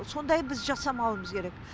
сондай біз жасамауымыз керек